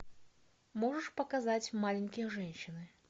можешь показать маленькие женщины